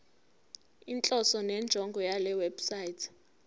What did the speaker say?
inhloso nenjongo yalewebsite